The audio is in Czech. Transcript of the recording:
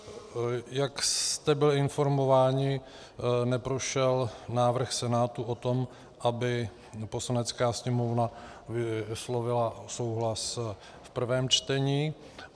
Jak jste byli informováni, neprošel návrh Senátu o tom, aby Poslanecká sněmovna vyslovila souhlas v prvém čtení.